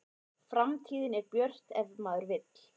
Framtíðin er björt ef maður vill